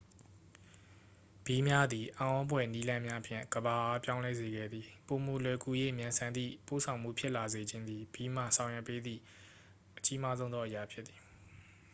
ဘီးများသည် အံ့ဖွယ်နည်းလမ်းများဖြင့် ကမ္ဘာအား ပြောင်းလဲစေခဲ့သည့် ပိုမိုလွယ်ကူ၍ မြန်ဆန်သည့် ပို့ဆောင်မှုဖြစ်လာစေခြင်းသည် ဘီးမှ ဆောင်ရွက်ပေးသည့် အကြီးမားဆုံးသော အရာ ဖြစ်သည်